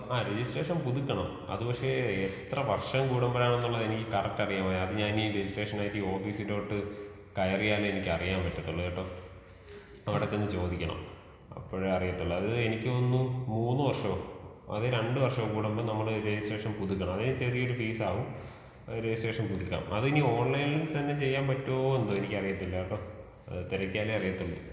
ആ രെജിസ്ട്രേഷൻ പുതുക്കണം അത് പക്ഷെ എത്ര വർഷം കൂടുമ്പളാണ് എന്നുള്ളത് എനിക്ക് കറക്റ്റ് അറിയാൻ വയ്യ. അത് ഞാൻ ഇനി രെജിസ്ട്രേഷൻ കഴിഞ്ഞിട്ട് ഓഫീസിലോട്ട് കയറിയാലേ എനിക്ക് അറിയാൻ പറ്റത്തൊള്ളു കേട്ടോ അപ്പൊ അവിടെചെന്ന് ചോദിക്കണം അപ്പഴേ അറിയാത്തോളൂ. അത് എനിക്ക് തോന്നുന്നു മൂന്ന് വർഷോ അതോ രണ്ട് വർഷം കൂടുമ്പോ നമ്മൾ രെജിസ്ട്രേഷൻ പുതുക്കണം. അതിനൊരു ചെറിയ ഫീസാവും. രെജിസ്ട്രേഷൻ പുതുക്കാം. അത് ഇനി ഓൺലൈൻ തന്നെ ചെയ്യാൻ പറ്റോ എന്തോ? എനിക്ക് അറിയത്തില്ല കേട്ടോ. തിരക്കിയാലെ അറിയാത്തോളൂ.